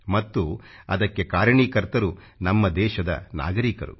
ಮತ್ತು ಅದಕ್ಕೆ ಕಾರಣೀಕರ್ತರು ನಮ್ಮ ದೇಶದ ನಾಗರೀಕರು